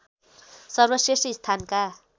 सर्वश्रेष्ठ स्थानका